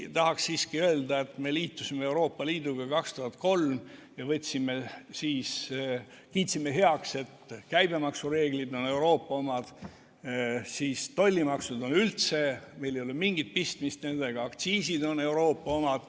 Tahaks siiski öelda, et me liitusime Euroopa Liiduga 2003 ja kiitsime siis heaks, et käibemaksureeglid on Euroopa omad, tollimaksudega pole meil üldse mingit pistmist, aktsiisid on Euroopa omad.